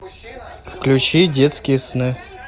включи детские сны